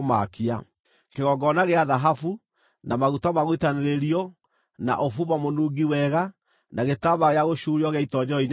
kĩgongona gĩa thahabu, na maguta ma gũitanĩrĩrio, na ũbumba mũnungi wega, na gĩtambaya gĩa gũcuurio gĩa itoonyero-inĩ rĩa hema;